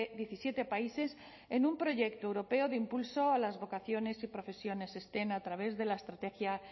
diecisiete países en un proyecto europeo de impulso a las vocaciones y profesiones stem a través de la estrategia